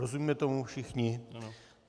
Rozumíme tomu všichni?